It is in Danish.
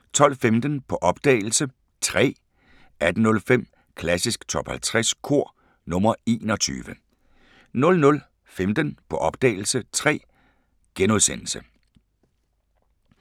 12:15: På opdagelse – Træ 18:05: Klassisk Top 50 Kor – nr. 21 00:15: På opdagelse – Træ *